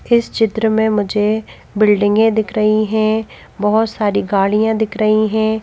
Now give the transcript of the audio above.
इस चित्र में मुझे बिल्डिंगें दिख रही हैं बहुत सारी गाड़ियां दिख रही हैं।